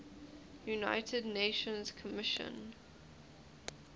united nations commission